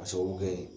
K'a sababu kɛ